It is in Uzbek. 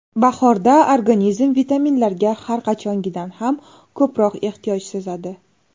Bahorda organizm vitaminlarga har qachongidan ham ko‘proq ehtiyoj sezadi.